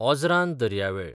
ओझरान दर्यावेळ